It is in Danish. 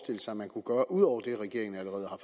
sig man kunne gøre udover det regeringen allerede har